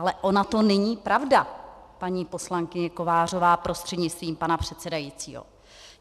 Ale ona to není pravda, paní poslankyně Kovářová prostřednictvím pana předsedajícího!